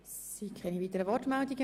Es gibt keine weiteren Wortmeldungen.